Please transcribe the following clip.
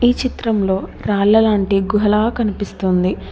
ఈ చిత్రంలో రాళ్ల లాంటి గుహలా కనిపిస్తోంది.